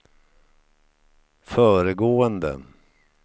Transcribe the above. föregående